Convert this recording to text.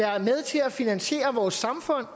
er med til at finansiere vores samfund